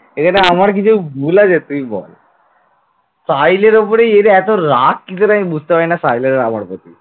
সাহিল এর উপর এত রাগ কিসের আমি বুঝতে পারি না সাহিলের আর আমার প্রতি ।